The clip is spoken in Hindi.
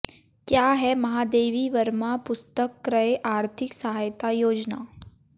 क्या है महादेवी वर्मा पुस्तक क्रय आर्थिक सहायता योजना